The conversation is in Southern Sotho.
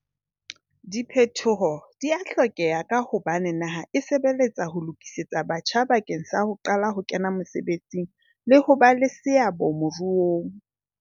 Diphetoho di a hlokeha ka hobane naha e sebeletsa ho lokisetsa batjha bakeng sa ho qala ho kena mesebetsing le ho ba le seabo moruong.